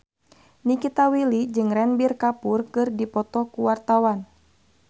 Nikita Willy jeung Ranbir Kapoor keur dipoto ku wartawan